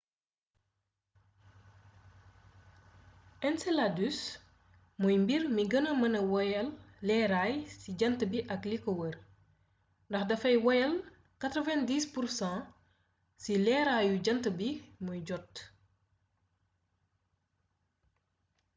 enceladus mooy mbir mi gëna mëna wéyal leeraay ci jànt bi ak liko wër ndax dafay wéyale 90% ci leeraaru jant bi muy jot